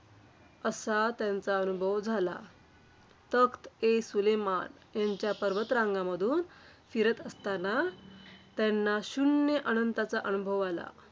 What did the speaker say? असा त्यांचा अनुभव झाला. तख्त-ए-सुलेमान यांच्या पर्वतरांगांमधून फिरत असतांना, त्यांना शून्य अनंताचा अनुभव आला.